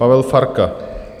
Pavel Farka.